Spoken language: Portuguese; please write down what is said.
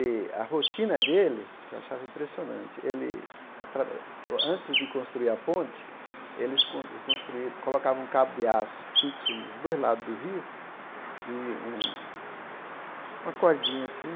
E a rotina dele, que eu achava impressionante, ele atra antes de construir a ponte, eles con construi colocavam um cabo de aço fixo nos dois lados do rio e um uma cordinha assim,